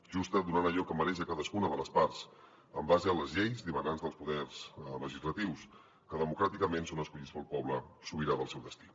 justa donant allò que mereix a cadascuna de les parts en base a les lleis dimanants dels poders legislatius que democràticament són escollits pel poble sobirà del seu destí